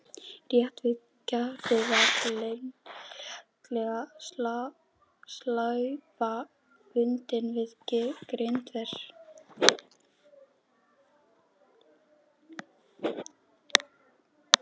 Rétt við gatið var lagleg slaufa bundin við girðinguna.